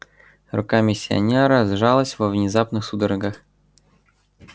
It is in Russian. рука миссионера сжалась во внезапных судорогах